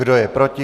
Kdo je proti?